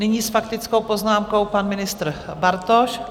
Nyní s faktickou poznámkou pan ministr Bartoš.